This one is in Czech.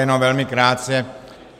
Jenom velmi krátce.